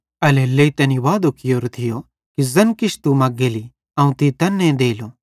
एल्हेरेलेइ तैनी वादो कियोरो थियो कि ज़ैन किछ तू मग्गेली अवं तीं तैन्ने देलो